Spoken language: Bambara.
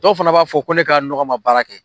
Dɔw fana b'a fɔ ko ne ka ne ka nɔgɔ ma baara kɛ.